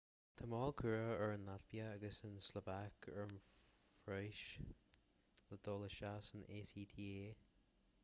tá moill curtha ag an laitvia agus an tslóvaic ar an phróiseas le dul isteach san acta